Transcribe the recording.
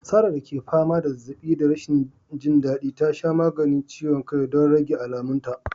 Sarah da ke fama da zazzaɓi da rashin jin daɗi, ta sha maganin ciwon kai don rage alamunta.